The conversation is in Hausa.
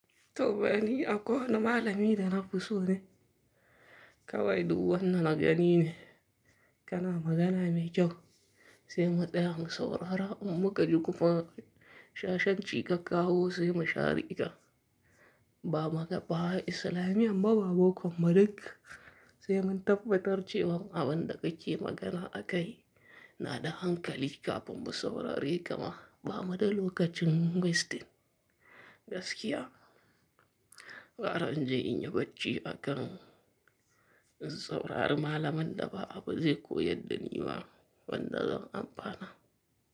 Toh bani a ko na malami da na fi so ne, kawai du wanna na gani ne. Kana magana mai kyau, sai mu tsaya mu saurara, in muka ji kuma shashanci ka kawo sai mu shareka. Ba ma ba Isilamiyyan ba, ba boko ba duk, kuma duk sai mun tabbatar cewan abin da kake magana akai na da hankali kafin mu saurare kama ba mu da lokacin wasting gaskiya. Gara inje inyi bacci a kan in saurari malamanda ba, abu zai koyadda ni ba wanda zan amfana.